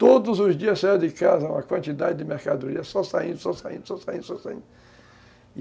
Todos os dias saía de casa uma quantidade de mercadorias, só saindo, só saindo, só saindo, só saindo.